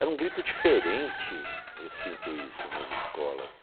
Era um grito diferente, eu sinto isso nas escolas.